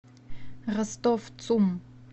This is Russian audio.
ростов цум